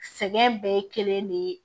Sɛgɛn bɛɛ ye kelen de ye